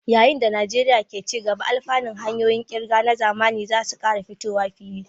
Yayin da Najeriya ke ci gaba, alfanun hanyoyin ƙirga na zamani za su ƙara fitowa fili.